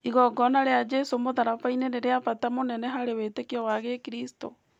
Igongona rĩa Jesũ mũtharaba-inĩ nĩ rĩa bata mũnene harĩ wĩtĩkio wa Gĩkristo.